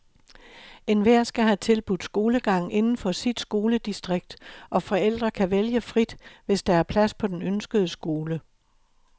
Enhver skal have tilbudt skolegang inden for sit skoledistrikt, og forældre kan vælge frit, hvis der er plads på den ønskede skole.